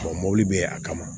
mɔbili bɛ a kama